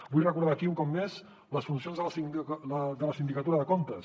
vull recordar aquí un cop més les funcions de la sindicatura de comptes